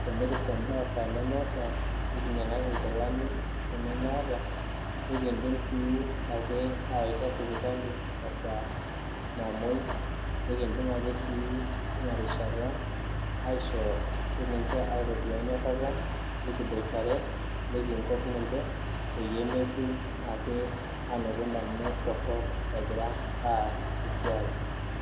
te nikinjo endaa tenemeeta esaa nemeeta nikinyang'aki nkilani tenemeeta nikindim sii ake aawaita sipitali ankata namoi nikindim ake sii teina rishata aaitoduaa enyorrata nikiboitare, nikinkok ninche peeyie metum ake ndamunot torrok egira aas esiaai.